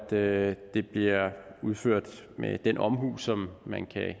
at det bliver udført med den omhu som man kan